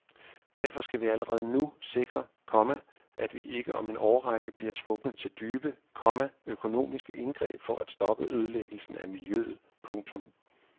Derfor skal vi allerede nu sikre, komma at vi ikke om en årrække bliver tvunget til dybe, komma økonomiske indgreb for at stoppe ødelæggelse af miljøet. punktum